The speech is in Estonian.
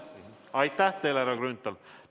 Aitäh teile, härra Grünthal!